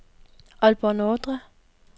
Aalborg Nordre